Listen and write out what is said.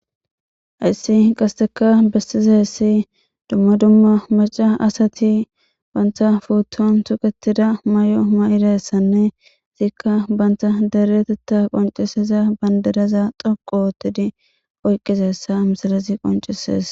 Hayissi qasika besizasi duma duma Mac,a asati batas puton suqetida mayo mayidayisanne ika bantha deretetha conc,isida badiraza dhoqu otidi oyiqidayisa misilezi qonc, ises